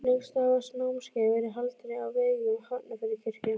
Lengst af hafa námskeiðin verið haldin á vegum Hafnarfjarðarkirkju.